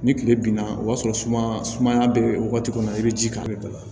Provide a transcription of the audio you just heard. Ni kile binna o y'a sɔrɔ sumaya sumaya bɛ wagati kɔnɔ i bɛ ji k'a kan i bɛ